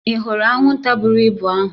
Ị hụrụ anwụnta buru ibu ahụ?